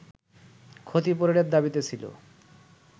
ক্ষতিপূরণের দাবিতে ছিল